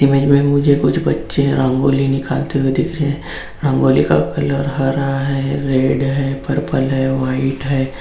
Image में मुझे कुछ बच्चे रंगोली निकलते हुआ दिख रहे हैं रंगोली का कलर हरा है रेड है पर्पल ह वाइट हैं।